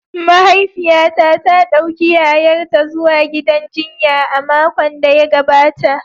Mahaifiyata ta dauki yayarta zuwa gidan jinya a makon da ya gabata.